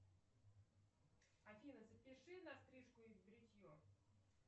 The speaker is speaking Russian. афина запиши на стрижку и бритье